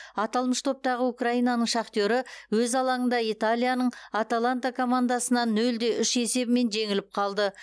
аталмыш топтағы украинаның шахтері өз алаңында италияның аталанта командасынан нөл де үш есебімен жеңіліп қалды